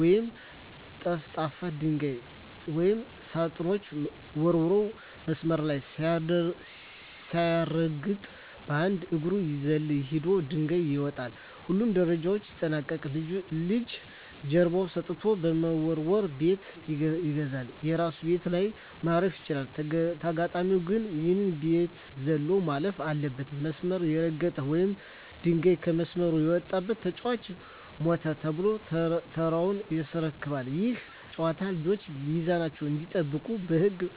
ወይም ጠፍጣፋ ድንጋይ ወደ ሳጥኖቹ ወርውሮ፣ መስመር ሳይረግጥ በአንድ እግሩ እየዘለለ ሄዶ ድንጋዩን ያመጣል። ሁሉንም ደረጃዎች ያጠናቀቀ ልጅ ጀርባውን ሰጥቶ በመወርወር "ቤት ይገዛል"። የራሱ ቤት ላይ ማረፍ ሲችል፣ ተጋጣሚው ግን ያንን ቤት ዘሎ ማለፍ አለበት። መስመር የረገጠ ወይም ድንጋዩ ከመስመር የወጣበት ተጫዋች "ሞተ" ተብሎ ተራውን ያስረክባል። ይህ ጨዋታ ልጆች ሚዛናቸውን እንዲጠብቁና በህግ መመራትን በደስታ እንዲለማመዱ ይረዳል።